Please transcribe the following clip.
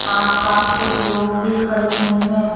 आस पास कुछ लोग भी खड़े हुए हैं।